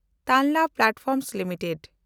Tanla platforms limited